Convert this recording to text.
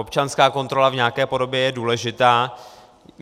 Občanská kontrola v nějaké podobě je důležitá.